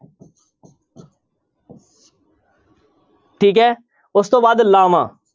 ਠੀਕ ਹੈ ਉਸ ਤੋਂ ਬਾਅਦ ਲਾਵਾਂ।